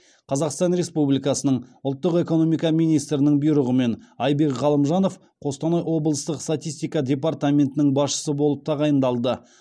қазақстан республикасының ұлттық экономика министрінің бұйрығымен айбек ғалымжанов қостанай облыстық статистика департаментінің басшысы болып тағайындалды